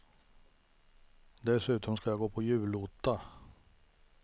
Dessutom ska jag gå på julotta.